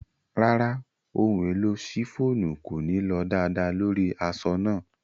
Ràrá, ohun-èlò ṣíffonù kòní lọ daadàà lórí aṣọ̀ náà.